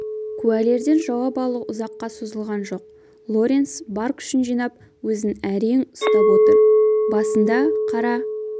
куәлерден жауап алу ұзаққа созылған жоқ лоренс бар күшін жинап өзін әерң ұстап отыр басында қара